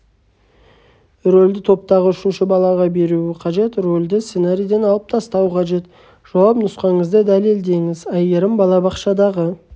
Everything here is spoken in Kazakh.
рөлді топтағы үшінші балаға беруі қажет рөлді сценарийден алып тастау қажет жауап нұсқаңызды дәлелдеңіз айгерім балабақшадағы